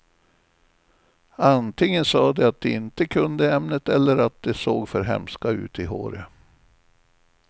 Antingen sa de att de inte kunde ämnet eller att de såg för hemska ut i håret.